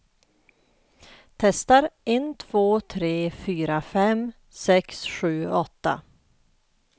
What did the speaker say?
Testar en två tre fyra fem sex sju åtta.